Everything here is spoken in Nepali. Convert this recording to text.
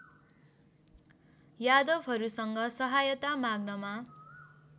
यादवहरूसँग सहायता माग्नमा